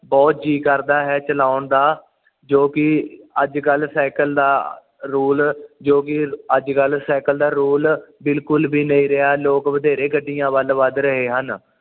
ਬੁਹਤ ਜੀ ਕਰਦਾ ਹੈ ਚਲਾਉਣ ਦਾ ਜੋ ਕਿ ਅੱਜ ਕੱਲ ਸਾਈਕਲ ਦਾ ਰੋਲ ਜੋ ਕਿ ਅੱਜ ਕੱਲ ਸਾਈਕਲ ਦਾ ਰੋਲ ਬਿਲਕੁਲ ਵੀ ਨਹੀਂ ਰਿਹਾ ਲੋਕ ਬਥੇਰੇ ਗੱਡੀਆਂ ਵੱਲ ਵੱਧ ਰਹੇ ਹਨ